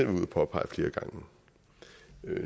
at påpege flere gange